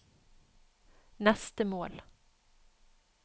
neste mål